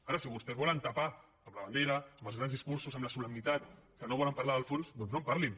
ara si vostès volen tapar amb la bandera amb els grans discursos amb la solemnitat que no volen parlar del fons doncs no en parlin